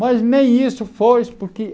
Mas nem isso foi, porque